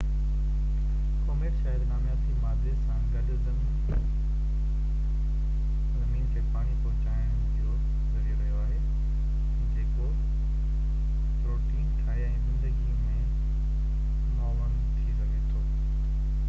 comet شايد نامياتي مادي سان گڏ زمين کي پاڻي پهچائڻ جو ذريعو رهيو آهي جيڪو پروٽين ٺاهي ۽ زندگي۾ معاون ٿي سگهي ٿو